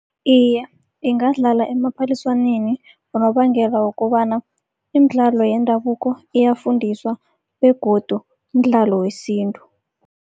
Iye, ingadlala emaphaliswaneni ngonobangela wokobana, imidlalo yendabuko iyafundiswa begodu mdlalo wesintu.